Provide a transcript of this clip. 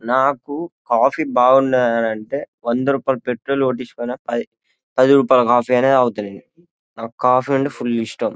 నాకు కాఫీ బావుండాలి అంటే వంద రూపాయలు పెట్రోల్ కొట్టించుకుని పది రూపాయలు కాఫీ అయినా తాగుతాను నాకు కాఫీ అంటే ఫుల్ ఇష్టం.